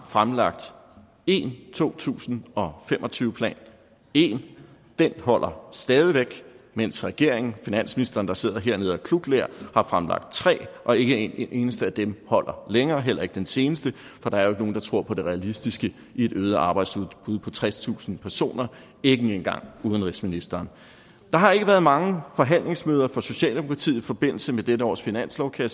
fremlagt én to tusind og fem og tyve plan én og den holder stadig væk mens regeringen finansministeren der sidder hernede og klukler har fremlagt tre og ikke en eneste af dem holder længere heller ikke den seneste for der er jo ikke nogen der tror på det realistiske i et øget arbejdsudbud på tredstusind personer ikke engang udenrigsministeren der har ikke været mange forhandlingsmøder for socialdemokratiet i forbindelse med dette års finanslov kan